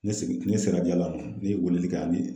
Ne segin ne sera ne ye weleli kɛ ani